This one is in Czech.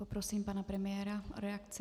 Poprosím pana premiéra o reakci.